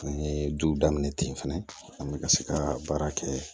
An ye du daminɛ ten fɛnɛ an bɛ ka se ka baara kɛ